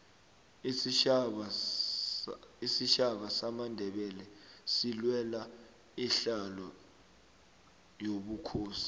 isitjhaba samandebele silwela isihlalo sobukhosi